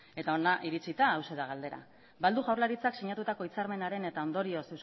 eta hona iritsita hauxe da galdera ba al du jaurlaritzak sinatutako hitzarmenaren eta ondorioz